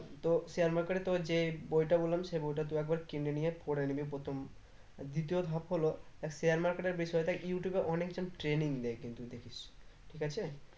তো share market এ তোর যে বইটা বললাম সেই বইটা তুই একবার কিনে নিয়ে পরে নিবি প্রথম দ্বিতীয় ধাপ হলো তা share market এর বিষয় টা youtube এ অনেকজন training নেয় কিন্তু দেখিস ঠিক আছে